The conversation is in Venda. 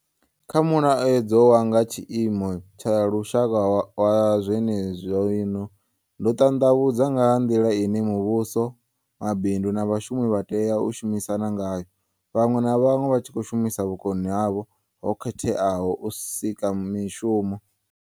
Kha Mulaedza wa nga Tshiimo tsha Lushaka wa zwenezwino, ndo ṱanḓavhudza nga ha nḓila ine muvhuso, mabindu na vhashumi vha tea u shumisana ngayo, vhaṅwe na vhaṅwe vha tshi khou shumisa vhukoni havho ho khetheaho kha u sika mishumo.